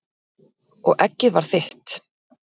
Og eggið var þitt!